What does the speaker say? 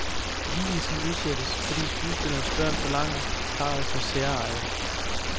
Vielsen udsættes, fordi skuespillerens børn forlanger, parret får særeje.